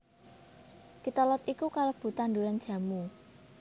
Kitolod iki kalebu ing tanduran jamu